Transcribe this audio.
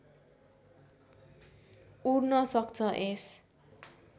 उड्न सक्छ यस